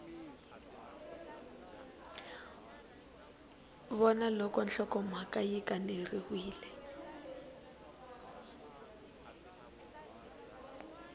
vona loko nhlokomhaka yi kaneriwile